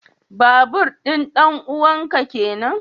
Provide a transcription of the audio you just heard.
Babur din danuwan ka kenan?